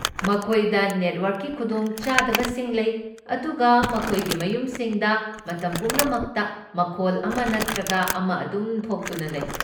ꯃꯈꯣꯏꯗ ꯅꯦꯠꯋꯔꯛꯀꯤ ꯈꯨꯗꯣꯡꯆꯥꯗꯕꯁꯤꯡ ꯂꯩ, ꯑꯗꯨꯒ ꯃꯈꯣꯏꯒꯤ ꯃꯌꯨꯝꯁꯤꯡꯗ ꯃꯇꯝ ꯄꯨꯝꯅꯃꯛꯇ ꯃꯈꯣꯜ ꯑꯃ ꯅꯠꯇ꯭ꯔꯒ ꯑꯃ ꯑꯗꯨꯝ ꯊꯣꯛꯇꯨꯅ ꯂꯩ꯫